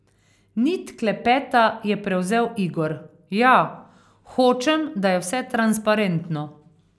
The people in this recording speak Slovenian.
Nit klepeta je prevzel Igor: 'Ja, hočem, da je vse transparentno.